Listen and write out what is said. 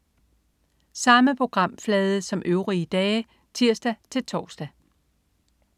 Samme programflade som øvrige dage (tirs-tors)